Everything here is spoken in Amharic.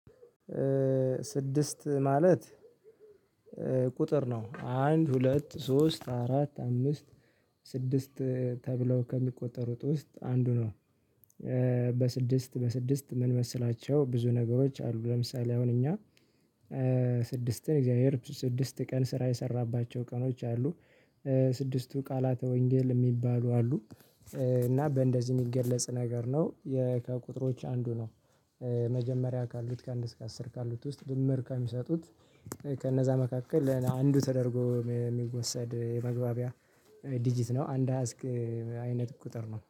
ስድስት ማለት ቁጥር ነው አንድ ሁለት ሶስት አራት አምስት ስድስት ተብለው ከሚቆጠሩት ውስጥ አንዱ ነው። በስድስት በስድስት ምን መሰላቸው ብዙ ነገሮች አሉ ለምሳሌ አሁን እኛ ስድስትን እግዚአብሔር ስድስት ቀን ስራ የሰራባቸው ቀኖች አሉ ስድስቱ ቃላተ ወንጌል የሚባሉ አሉ እና በእንደዚህ የሚገለጽ ነገር ነው ከቁጥሮች አንዱ ነው። መጀመሪያ ካሉት ከአንድ እስከ አስር ካሉት ውስጥ ድምር ካሚሰጡት ከነዛ መካከል አንዱ ተደርጎ የሚወሰድ የመግባቢያ ዲጂት ነው አንድ አሀዝ አይነት ቁጥር ነው።